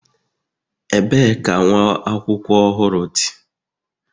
ebee ka nwa akwụkwọ ohuru di?